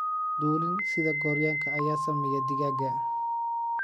Dulin sida Gooryaanka ayaa saameeya digaagga.